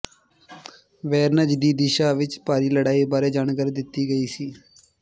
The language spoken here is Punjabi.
ਵੋਰੋਨਜ਼ ਦੀ ਦਿਸ਼ਾ ਵਿੱਚ ਭਾਰੀ ਲੜਾਈ ਬਾਰੇ ਜਾਣਕਾਰੀ ਦਿੱਤੀ ਗਈ ਸੀ